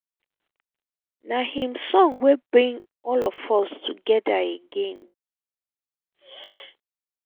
na im song wey bring all of us together again